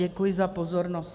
Děkuji za pozornost.